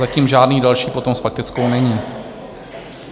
Zatím žádný další potom s faktickou není.